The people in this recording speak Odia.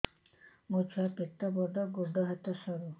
ମୋ ଛୁଆ ପେଟ ବଡ଼ ଗୋଡ଼ ହାତ ସରୁ